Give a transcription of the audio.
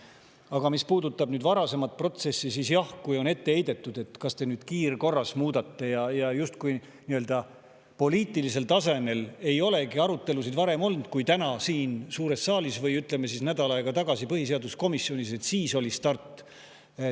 Aga mis puudutab nüüd varasemat protsessi, siis jah, on ette heidetud, et miks me nüüd kiirkorras seda muudame, justkui poliitilisel tasemel ei olekski arutelusid varem olnud kui täna siin suures saalis, või ütleme siis, justkui nädal aega tagasi põhiseaduskomisjonis oleks olnud start.